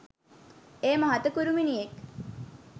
එය මහත කුරුමිණියෙක්